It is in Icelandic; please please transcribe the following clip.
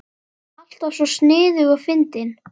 Alltaf svo sniðug og fyndin.